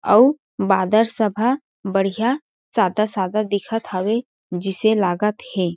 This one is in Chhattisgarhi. अउ बादर सब ह बढ़िया सादा-सादा दिखत हवे जिसे लागत हे।